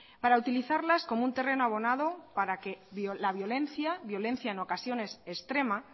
para utilizarlas como un terreno abonado para que la violencia violencia en ocasiones extrema